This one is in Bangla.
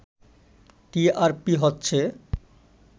টিআরপি হচ্ছে